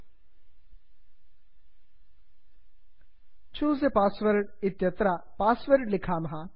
choose a password choose a password इत्यत्र password लिखामः